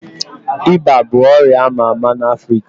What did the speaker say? Iba bụ ọrịa ama ama na Africa